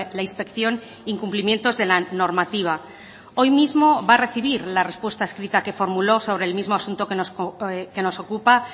la inspección incumplimientos de la normativa hoy mismo va a recibir la respuesta escrita que formuló sobre el mismo asunto que nos ocupa